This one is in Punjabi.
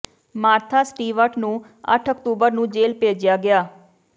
ਮਾਰਥਾ ਸਟੀਵਰਟ ਨੂੰ ਅੱਠ ਅਕਤੂਬਰ ਨੂੰ ਜੇਲ੍ਹ ਭੇਜਿਆ ਗਿਆ